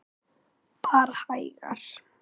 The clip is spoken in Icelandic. Bara hægar.